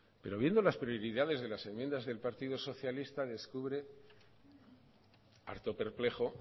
pero viendo las prioridades de las enmiendas del partido socialista descubre harto perplejo